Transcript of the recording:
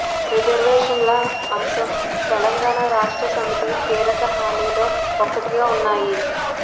రిజర్వేషన్ల అంశం తెలంగాణ రాష్ట్ర సమితి కీలక హామీల్లో ఒకటిగా ఉన్నాయి